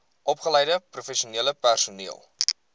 opgeleide professionele personeel